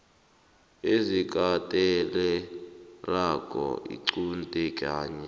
ezikatelelako iqunte ngenye